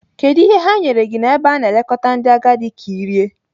Kedu ihe ha nyere gị n'ebe a na-elekọta ndị agadi ka ị rie?